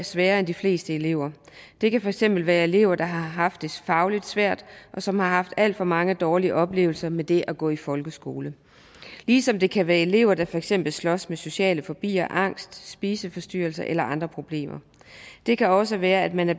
sværere end de fleste elever det kan for eksempel være elever der har haft det fagligt svært og som har haft alt for mange dårlige oplevelser med det at gå i folkeskole ligesom det kan være elever der for eksempel slås med social fobi og angst spiseforstyrrelser eller andre problemer det kan også være at man er